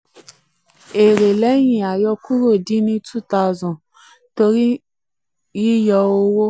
3. èrè lẹ́yìn àyọkúrò dín ni two thousand torí ni cs] two thousand torí yíyọ owó.